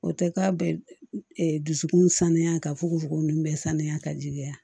O tɛ k'a bɛɛ dusukun sanuya ka fuko fogo nun bɛɛ sanuya ka jigiya